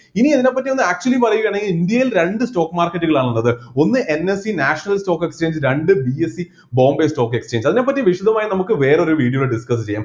ഇനി അതിനെപ്പറ്റി ഒന്ന് actually പറയുകയാണെങ്കിൽ ഇന്ത്യയിൽ രണ്ട് stock market കളാണ് ഉള്ളത് ഒന്ന് NSEnational stock exchange രണ്ട് BSEbombay stock exchange അതിനെപ്പറ്റി വിശദമായി നമുക്ക് വേറെ ഒരു video ൽ discuss ചെയ്യാം